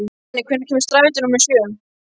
Danni, hvenær kemur strætó númer sjö?